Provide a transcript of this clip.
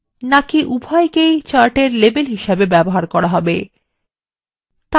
বা উভয়কেই chart অক্ষএর labels হিসাবে ব্যবহার করা হবে